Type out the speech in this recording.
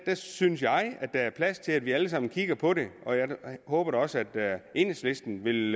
synes jeg at der er plads til at vi alle sammen kigger på det og jeg håber da også at enhedslisten vil